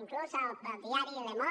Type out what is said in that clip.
inclús el diari le monde